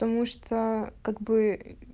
потому что как бы ээ